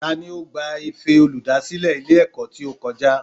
Tani o gba Ife olùdásílè Ilé èkó tí ó kojá?